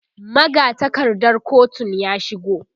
magatakardar kotun ya shigo